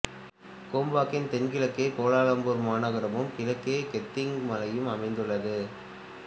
கோம்பாக்கின் தென்கிழக்கே கோலாலம்பூர் மாநகரமும் கிழக்கே கெந்திங் மலையும் அமைந்துள்ளது